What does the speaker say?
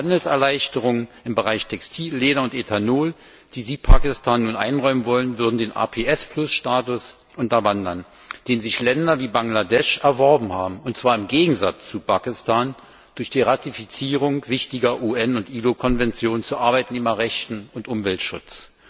Denn Handelserleichterungen im Bereich Textil, Leder und Ethanol, die Sie Pakistan nun einräumen wollen, würden den APS Status unterwandern, den sich Länder wie Bangladesch erworben haben, und zwar im Gegensatz zu Pakistan durch die Ratifizierung wichtiger UN und ILO Konventionen zu Arbeiternehmerrechten und Umweltschutz.